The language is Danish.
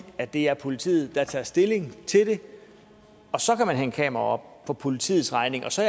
at det er politiet der tager stilling til det og så kan man hænge kameraer op på politiets regning og så